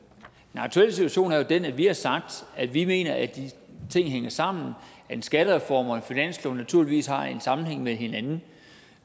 den aktuelle situation er jo den at vi har sagt at vi mener at de ting hænger sammen at en skattereform og en finanslov naturligvis har en sammenhæng med hinanden